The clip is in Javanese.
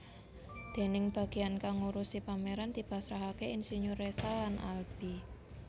Dèning bageyan kang ngurusi pameran dipasrahake insinyur Résal lan Alby